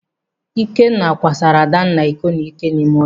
Ikenna kwasara Adanna iko n'ike n'ime ụlọ.